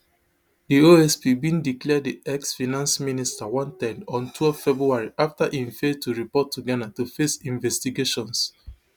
di osp bin declare di exfinance minister wanted on twelve february afta im fail to report to ghana to face investigations